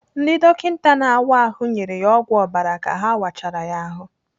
Ndị dọkịta na-áwá ahụ nyere ya ọgwụ ọbara ka ha wachara ya ahụ.